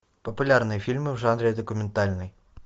популярные фильмы в жанре документальный